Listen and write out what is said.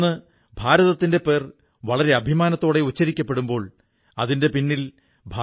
ഇന്ന് Germany Poland Malaysia തുടങ്ങി ഇരുപതോളം രാജ്യങ്ങളിൽ ഞാണിൻമേൽക്കളിക്ക് വളരെ പ്രചാരം ലഭിക്കുകയാണ്